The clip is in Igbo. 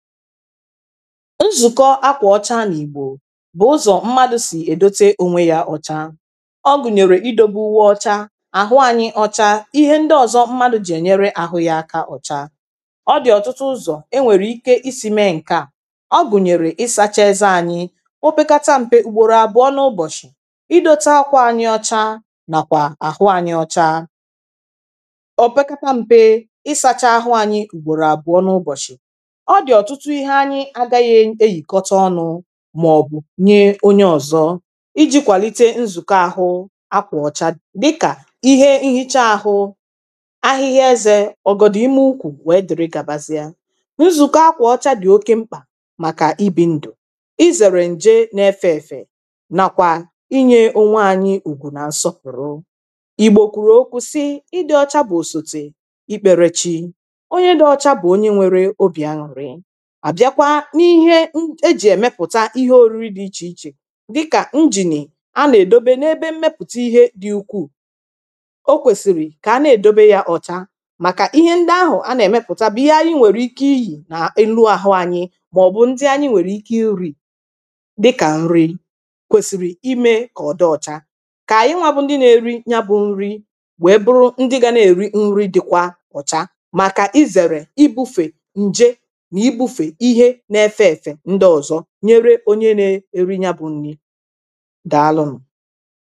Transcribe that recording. nzùkọ akwà ọcha n’ìgbò bụ̀ ụzọ̀ mmadù sì èdote ònwe yȧ ọ̀cha ọgùnyèrè i dobewe uwe ọcha àhụ anyi ọcha, ihe ndị ọ̀zọ mmadù jì ènyere àhụ yȧ aka ọ̀cha ọdì ọ̀tụtụ ụzọ̀ e nwèrè ike isi̇ mee ǹkeà ọgùnyèrè i sacha eze anyi o pekata mpe ùgbòrò àbụ̀ọ n’ụbọ̀shị̀ idȯtė akwà anyi ọcha nàkwà àhụ anyi ọcha o pekata mpe isacha ahụ̇ anyi ùgbòrò àbụ̀ọ n’ụbọ̀shị̀ tụtụ ihe anyị agaghị eyìkọta ọnụ̇ màọ̀bụ̀ nye onye ọ̀zọ iji̇ kwàlite nzụkọ ahụ́ akwà ọcha dịkà ihe nhicha ahụ ahịhịa ezė ọ̀gọ̀dụ̀ ime ukwù wèe dị̀rị gàbazịa nzụkọ akwà ọcha dị̀ oke mkpà màkà ibi̇ ndụ̀ ịzèrè ǹje na-efė èfè nàkwà inye ònwe anyị ùgwù nà nsọpụ̀rụ ìgbòkùrù okwu̇ sị ịdị ọcha bụ òsòtè ikpèrèchi onye dị ọcha bụ̀ onye nwere obì aǹrị àbịakwa n’ihe ejì èmepụ̀ta ihe òriri dị̇ ichè ichè dịkà injìnì a nà-èdobe n’ebe mmepụ̀ta ihe dị̇ ukwuù o kwèsìrì kà a na-èdobe ya ọ̀cha màkà ihe ndị ahụ̀ a nà-èmepụ̀ta bụ̀ ihe anyi nwèrè ike iyì nà enu àhụ anyi màọ̀bụ̀ ndị anyi nwèrè ike iri̇ dịkà nri kwèsìrì imė kà ọdị ọ̀cha kà ànyị nwȧ bụ ndị na-eri ya bụ̇ nri wèe bụrụ ndị ga na-èri nri dịkwa ọ̀cha màkà izèrè ịbụ̇fè ǹje nyere onye na-eri ya bụ nri daa alụmụ